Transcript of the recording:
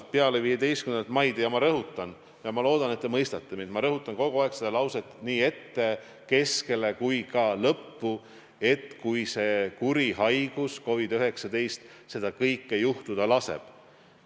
Kui peale 15. maid, ma rõhutan – ma loodan, et te mõistate mind, kui ma rõhutan kogu aeg seda lauset nii ette, keskele kui ka lõppu –, see kuri haigus COVID-19 seda kõike juhtuda laseb.